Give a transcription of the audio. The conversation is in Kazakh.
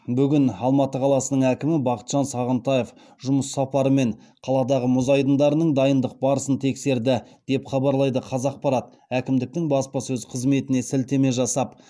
бүгін алматы қаласының әкімі бақытжан сағынтаев жұмыс сапарымен қаладағы мұз айдындарының дайындық барысын тексерді деп хабарлайды қазақпарат әкімдіктің баспасөз қызметіне сілтеме жасап